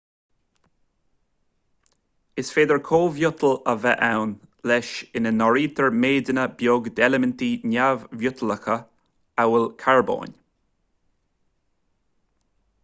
is féidir cóimhiotail a bheith ann leis ina n-áirítear méideanna beag d'eilimintí neamh-mhiotalacha amhail carbón